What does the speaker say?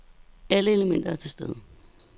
Alle elementer er til stede.